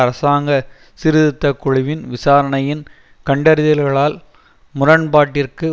அரசாங்க சீர்திருத்த குழுவின் விசாரணையின் கண்டறிதல்களால் முரண்பாட்டிற்கு